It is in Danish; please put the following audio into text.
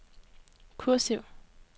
kursiv